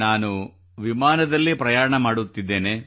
ನಾನು ವಿಮಾನದಲ್ಲಿ ಪ್ರಯಾಣ ಮಾಡುತ್ತಿದ್ದೇನೆ